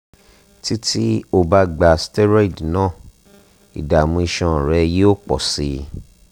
títí o bá gba steroid náà ìdààmú iṣan rẹ yóò pọ̀ sí i